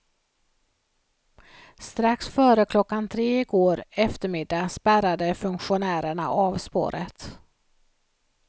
Strax före klockan tre i går eftermiddag spärrade funktionärerna av spåret.